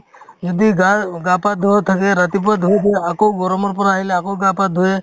যদি গাৰ গা-পা ধোৱাও থাকে ৰাতিপুৱা ধুই দিয়ে আকৌ গৰমৰ পৰা আহিলে আকৌ গা-পা ধোয়ে